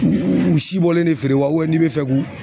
U si bɔlen de feere wa n'i bɛ fɛ k'u